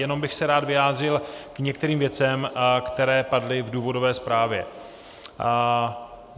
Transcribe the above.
Jenom bych se rád vyjádřil k některým věcem, které padly v důvodové zprávě.